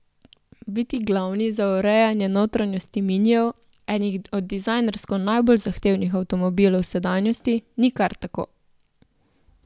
Biti glavni za urejanje notranjosti Minijev, enih od dizajnersko najbolj zahtevnih avtomobilov sedanjosti, ni kar tako.